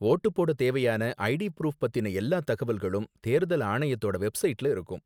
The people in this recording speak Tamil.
வோட்டு போட தேவையான ஐடி ப்ரூஃப் பத்தின எல்லா தகவல்களும் தேர்தல் ஆணையத்தோட வெப்சைட்ல இருக்கும்.